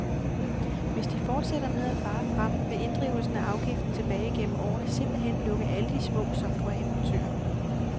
Hvis de fortsætter med at fare frem, vil inddrivelsen af afgiften tilbage gennem årene simpelt hen lukke alle de små softwareimportører.